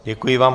Děkuji vám.